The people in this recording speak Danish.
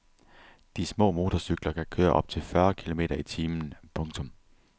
De små motorcykler kan køre op til fyrre kilometer i timen. punktum